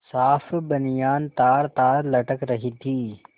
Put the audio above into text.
साफ बनियान तारतार लटक रही थी